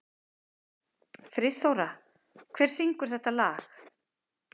Friðþóra, hver syngur þetta lag?